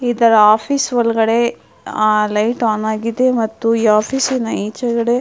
ಇತರ ಆಫೀಸ್ ಒಳಗಡೆ light on ಆಗಿದೇ ಮತ್ತು ಆಫೀಸ್ ಇನ ಈಚೆಕಡೆ --